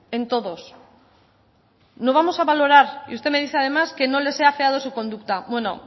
en todos no vamos a valorar y usted me dice además que no les he afeado su conducta bueno